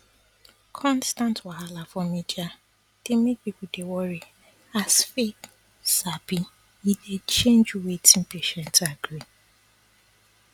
constant wahala for media dey make people dey worry as faith sabi e dey change wetin patient agree